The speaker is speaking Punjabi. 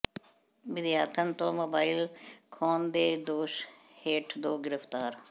ਵਿਦਿਆਰਥਣ ਤੋਂ ਮੋਬਾਈਲ ਖੋਹਣ ਦੇ ਦੋਸ਼ ਹੇਠ ਦੋ ਗਿ੍ਫ਼ਤਾਰ